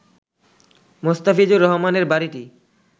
মোস্তাফিজুর রহমানের বাড়িটি